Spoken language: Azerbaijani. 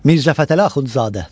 Mirzəfətəli Axundzadə.